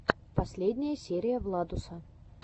последняя серия владуса